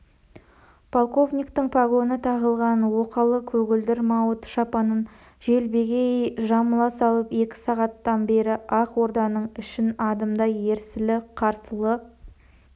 полковниктің погоны тағылған оқалы көгілдір мауыты шапанын желбегей жамыла салып екі сағаттан бері ақ орданың ішін адымдай ерсілі-қарсылы